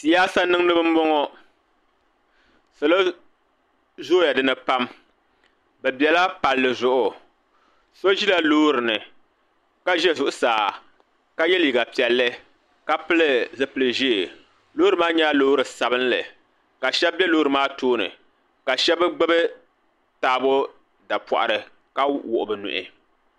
Siyasa niŋdiba m-bɔŋɔ salo zooya dini pam bɛ bela palli zuɣu so ʒila loori ni ka ʒe zuɣusaa ka ye liiga piɛlli ka pili zipili ʒee loori maa nyɛla loori sabinli ka shɛba be loori maa tooni ka shɛba gbubi taabo dapɔɣiri ka wuɣi bɛ nuhi.